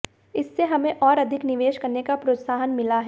इससे हमें और अधिक निवेश करने का प्रोत्साहन मिला है